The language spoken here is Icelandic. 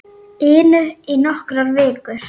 inu í nokkrar vikur.